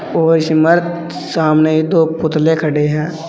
और इस सामने दो पुतले खड़े हैं।